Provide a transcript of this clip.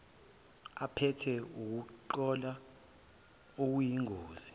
aphethe ukungcola okuyingozi